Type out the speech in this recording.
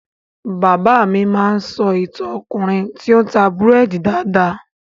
Bàbá mi a máa sọ ìtàn Ọkùnrin tí o n ta búrédì dáadáa.